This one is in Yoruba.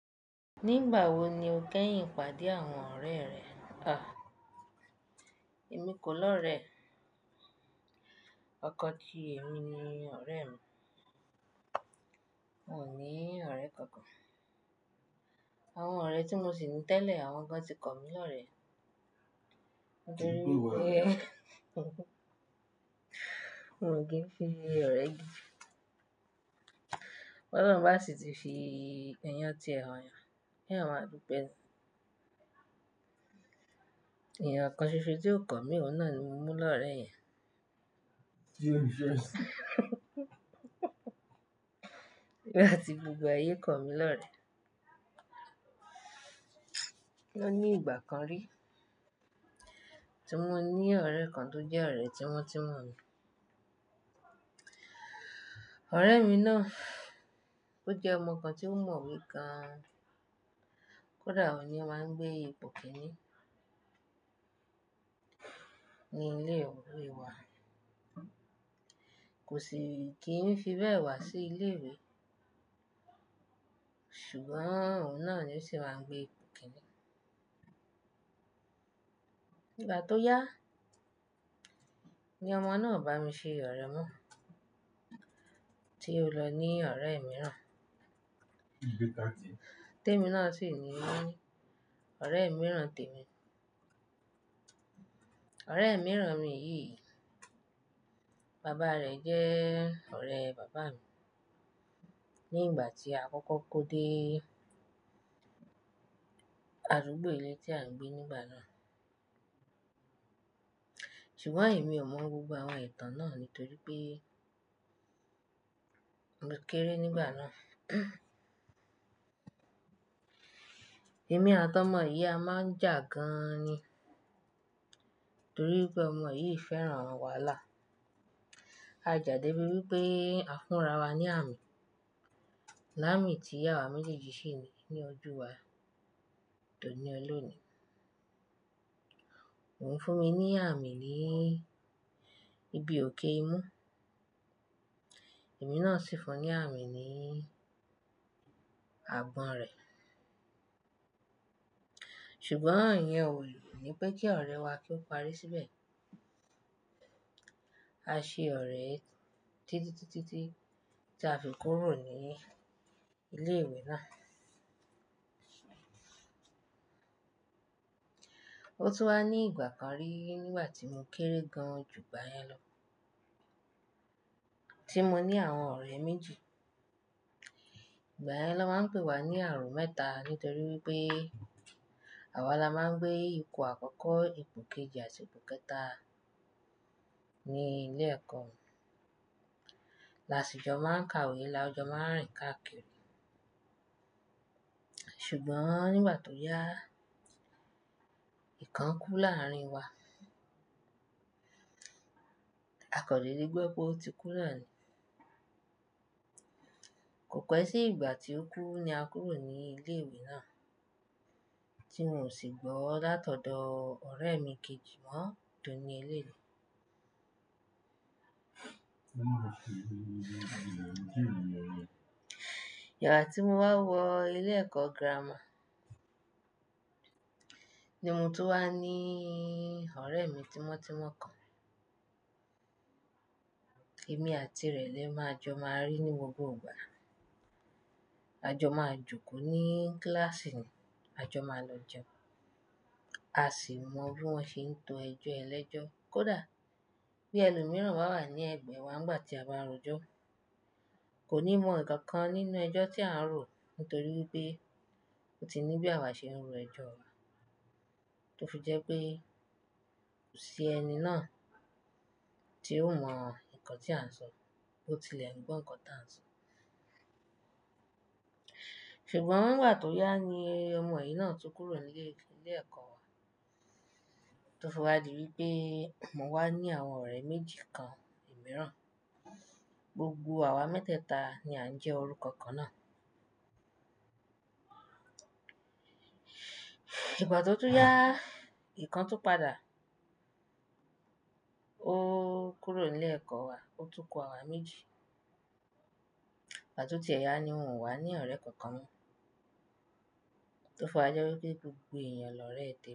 Nígbà wo ni o kẹ́yìn pàdé àwọn ọ̀rẹ́ rẹ? À, èmi kò lọ̀rẹ́. Ọkọ̀ tí èmi ni ọ̀rẹ́ mi. Mo ní ọ̀rẹ́ kankan. Àwọn ọ̀rẹ́ tí mo ṣì ní tẹ̀lé, àwọn kan ti kọ mí lọ̀rẹ́. Mo kìi fi ọ̀rẹ́ Tolọ́run bá ṣì ti fi ẹyán tiẹ royàn, kí ẹyan máà dúpẹ́. Èèyàn kàn ṣoṣo tí ó kọ̀ mí, òun náà ni mo mú lọ̀rẹ́ yẹn. Nigbati gbogbo ayé kọ̀ mí lọ̀rẹ́. O ní ìgbà kan rí, tí mo ní ọ̀rẹ́ kan tó jẹ́ ọ̀rẹ́ tímọ́tímọ́ mi. Ọ̀rẹ́ mi náà, ó jẹ́ ọmọ kàn tí ó mọ̀ wẹ gán. Kódà òun ni ó máa ń gbé ipò kíní ní ilé ìwé wa. Kò sì kí n fi bẹ́ẹ̀ wá sí ilé ìwé. Ṣùgbọ́n òun náà ni ó sì máa ń gbé ipò kíní. Ìgbà tó yá, ni ọmọ náà o bá mi ṣe ọ̀rẹ́ mọ́ tí ó lọ ní ọ̀rẹ́ mìíràn. Témi náà ṣì ní ọ̀rẹ́ mìíràn tèmi. Ọ̀rẹ́ mìíràn mi yìí, baba rẹ̀ jẹ́ ọ̀rẹ́ bàbá mi nígbà tí a kọ́kọ́ kó dé àdúgbó ilé tí à ń gbé nígbà náà. Ṣùgbọ́n èmi ò mọ̀ gbogbo àwọn ìtàn náà nítorí pé mo kéré nígbà náà. Èmi àti ọmọ yìí a máà ń jà gan an ni, torí pé ọmọ yìí fẹ́ran àwọn wàhálà. A já dé bíi wí pé a fún ra wa ní àmì. Láàmi tí awá méjèèjì ṣi ní ní ojú wá dòní ọlónì. Òun fún mi ní àmì ni ibi òkè ìmú. Èmi náà sì fún ní àmì ni agbọ̀n rẹ̀. Ṣùgbọ́n ìyẹn ò ni pé kí ọ̀rẹ́ wá kí ó parí síbẹ̀. A ṣe ọ̀rẹ́ títí títí tí a fi kúrò ní ilé ìwé náà. Ó tún wá ní ìgbà kan rí nígbà tí mo kéré gán jùgbàyẹn lọ tí mo ní àwọn ọ̀rẹ́ méjì. Ìgbà yẹn ló máa ń pè wá ní àárọ̀ mẹ́ta nítorí wípé àwa la máa ń gbé ipò àkọ́kọ́, ipò kejì àti ipò kẹta ní ilé ẹ̀kọ́. Làásìjọ máa ń ka ìwé, làájọ máa ń rìn káàkiri. Ṣùgbọ́n nígbà tó yá, ìkan kú láárín wa. A kò dèdè gbọ́ pé ótikú náà ni. Kò pẹ́ sí ìgbà tí ó kú ní a kúrò ní ilé ìwé náà, tí mi ò sì gbọ́ látọ̀dọ̀ ọ̀rẹ́ mi kejì mọ́ dòní eléni. Ìgbà tí mo wá wọ ilé ẹ̀kọ́ gírámà ni mo tún wá níí ọ̀rẹ́ mi tímọ́tímọ́ kan. Èmi àti rẹ̀ lè máa jọ máa rí ní gbogbo ìgbà. A jọ máa jókòó ní kílàsì, a jọ máa lọ jẹun, a ṣì mọ bí wọ́n ṣe ń to ẹjọ́ ẹlẹ́jọ́. Kódà bí ẹlòmíràn bá wà ní ẹ̀gbẹ́ wa nígbà tí a bá rọ̀jọ́, kò ní mọ ǹkan kan nínú ẹjọ́ tí à ń rò nítorí wípé ó ti ní bí àwa ṣe ń ro ẹjọ́ wa. Tó fi jẹ́ pé, kò sí ẹni náà tí ó mọ ǹkan tí à ń sọ, bó tilẹ̀ gbọ́ ǹkan tí à ń sọ. Ṣùgbọ́n ìgbà tó yá ni ọmọ yìí náà tún kúrò nílé ilé ẹ̀kọ́ wa tó fi wa dì wípé mo wá ní àwọn ọ̀rẹ́ méjì kan mìíràn. Gbogbo àwa mẹ́tẹ̀ta ni a ń jẹ́ orúkọ kan náà. Ìgbà tó tún yá, ìkan tún padà. Ó kúrò nílẹ̀kọ́ wa, ó tún kú àwa méjì. Ìgbà tó tiẹ̀ yá ni mò ń wá ní ọ̀rẹ́ kankan mo tó fi wa jẹ́ wípé gbogbo èèyàn lọ̀rẹ́ tèmi.